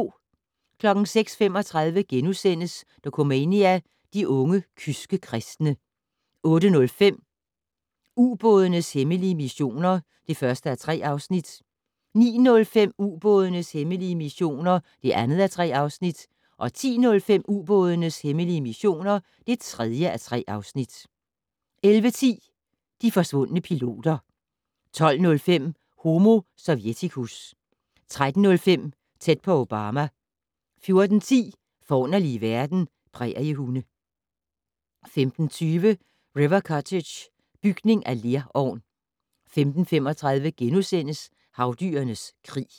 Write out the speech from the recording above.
06:35: Dokumania: De unge kyske kristne * 08:05: Ubådenes hemmelige missioner (1:3) 09:05: Ubådenes hemmelige missioner (2:3) 10:05: Ubådenes hemmelige missioner (3:3) 11:10: De forsvundne piloter 12:05: Homo sovjeticus 13:05: Tæt på Obama 14:10: Forunderlige verden - Præriehunde 15:20: River Cottage - bygning af lerovn 15:35: Havdyrenes krig *